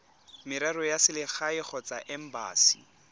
merero ya selegae kgotsa embasi